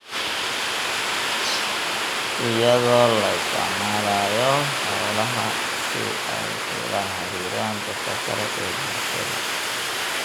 iyadoo la isticmaalayo xoolaha si ay ula xiriiraan dadka kale ee bulshada.